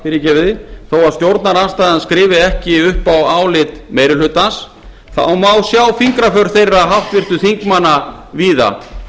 stjórnarmeirihlutanum þó að stjórnarandstaðan skrifi ekki upp á álit meiri hlutans má sjá fingraför þeirra háttvirtra þingmanna víða